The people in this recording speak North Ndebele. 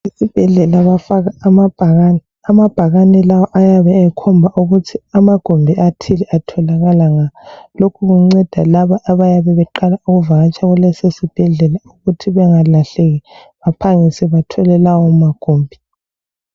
Esibhedlela bafake amabhakane. Amabhakane lawa ayabe ekhomba ukuthi amagumbi athile atholakala ngaphi. Lokhu kunceda labo abayabe beqala ukuvakatsha kulesisibhedla ukuthi bengalahleki baphangise bathole lawo magumbi.